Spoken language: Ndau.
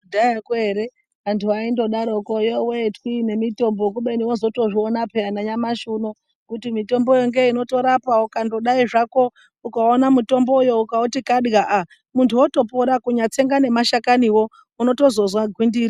Kudhayako ere antu aindodaroko yove twii nemitombo kubeni vozotozviona peyani nanyamashi uno. Kuti mitomboyo ngeinotorapa ukangodai zvako ukaona mutomboyo ukauti kadwa aa muntu otopora, kunyatsenga nemahlakanivo unotozozwa gwindiri.